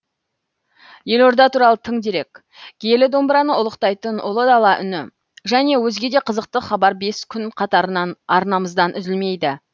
елорда туралы тың дерек киелі домбыраны ұлықтайтын ұлы дала үні және өзге де қызықты хабар бес күн қатарынан арнамыздан үзілмейді